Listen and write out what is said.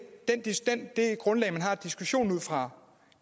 det grundlag man har diskussionen ud fra